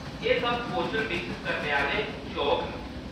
एह्‌‌ सब कौशल विकसत करने आह्‌‌‌ले शौक न।